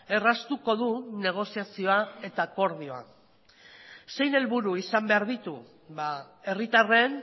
erraztuko du negoziazioa eta akordioa zein helburu izan behar ditu herritarren